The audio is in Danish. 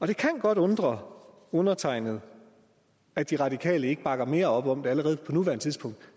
det kan godt undre undertegnede at de radikale ikke bakker mere op om det allerede på nuværende tidspunkt